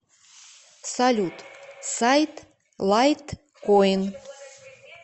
салют сайт лайткоин